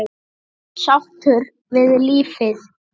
Sáttur við lífið.